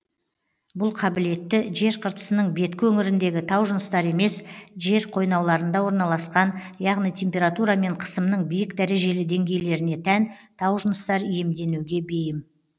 бұл қабілетті жер қыртысының беткі өңіріндегі таужыныстар емес жер қойнауларында орналасқан яғни температура мен қысымның биік дәрежелі деңгейлеріне тән таужыныстар иемденуге бейім